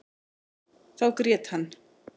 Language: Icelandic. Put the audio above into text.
Þá grét hann.